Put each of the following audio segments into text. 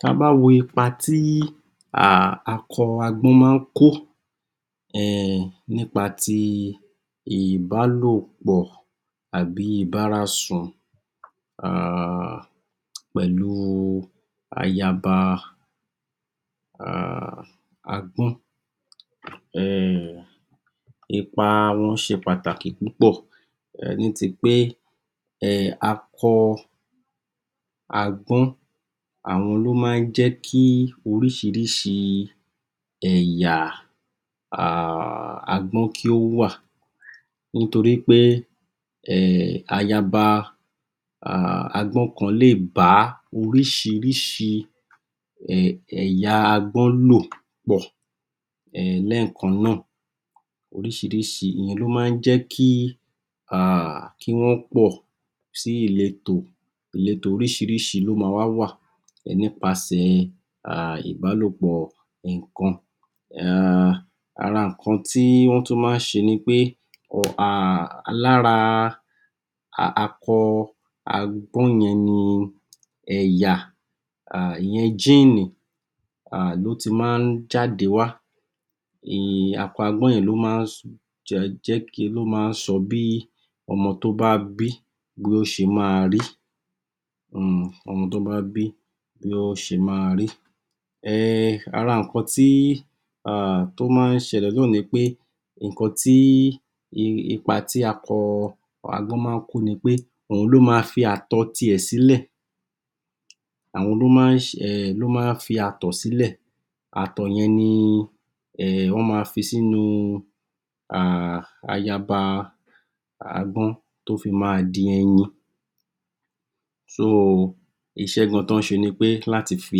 Ta bá wo ipa tí um akọ máa ń kó um nípa ti ìbálòpoọ̀ àbí ìbárasùn um pẹ̀lú ayaba um agbọ́n, ipa wọn ṣe pàtàkì púpọ̀ ní ti pé um akọ agbọ́n, àwọn ni ó máa ń jẹ́ kí oríṣiríṣi ẹ̀yà um agbọ́n kí ó wà, nítorí pé um ayaba um agbọ́n kan lè bá oríṣiríṣi ẹ̀yà agbọ́n lò pọ̀ um lẹ́ẹ̀kan náà, oríṣiríṣi, ìyẹn ló máa ń jé kí um kí wọ́n pọ̀ sí ìletò, ìletò oríṣiríṣi ló ma wá wà nípasẹ̀ ìbálòpọ̀ ẹ̀ǹkan um ara nǹkan tí wọ́n tún máa ń ṣe ni pé um lára akọ agbọ́n yẹn ni ẹ̀yà, ìyẹn (Gene) um ló ti máa ń jáde wá um akọ agbọ́n yẹn ló máa ń ló máa ń sọ bí ọmọ tó bá bí, bí ó ṣe ma rí um ọmọ tó bá bí, bí ó ṣe ma rí, um ara nǹkan tí um tó máa ń ṣẹlẹ̀ náà ni pé nǹkan tí, ipa tí akọ agbọ́n máa ń kó ni pé, òhun ló ma fi àtọ̀ ti ẹ̀ sílẹ̀, àwọn ló máa ń se um ló máa ń fi àtọ̀ sílẹ̀, àtọ̀ yẹn ni wọ́n ma fi sínu um ayaba agbọ́n tó fi ma di ẹyin, (so) iṣẹ́ gan tọ́ ń ṣe ni pé láti fi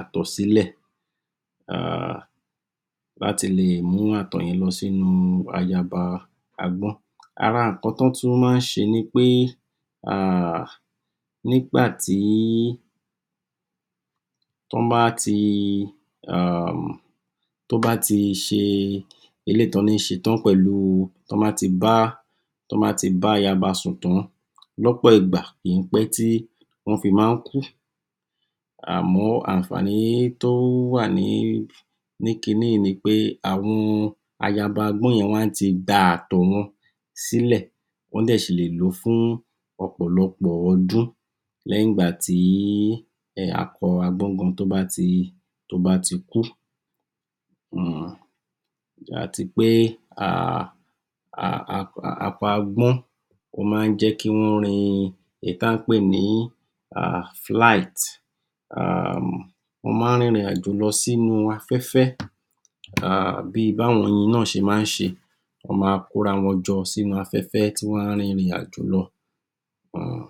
àtọ́ sílè um láti lè mú ìtọ̀ yẹn sínu ayaba agbọ́n. Ara nǹkan tọ́ tún máa ń ṣe ni pé um nígbàtí, tọ́n bá ti ṣe eléyìí tí wọ́n ní ṣe pẹ̀lú tọ́ bá ti bá, tọ́ bá ti bá ayaba sùn tán lọ́pọ̀ ìgbà kì í pẹ́ tí wọ́n fi máa ń kú, àmọ́ àǹfàní tó wà ni kiní yì í ni pé àwọn ayaba agbọn yẹn wọ́n ti da àtọ̀ wọn sílẹ̀ wọ́ ṣì lè lò ó fún ọ̀pọ̀lọpọ́ ọdún lẹ́yin ìgbà tí akọ agbọ́n gan tó bá ti, tó bá ti kú um àti pé um akọ agbọ́n, ó máa ń jẹ́ kí wọ́n rin èyí ta ń pè ni um (flight) um wọ́n máa ń rin ìrìn àjò lo sínu afẹ́fẹ́ um bí báwọn oyin náà ṣe máa n ṣe, wọ́n ma kóra wọn jọ sínú afẹ́fẹ́ tí wọ́n á rin ìrìn àjò lọ um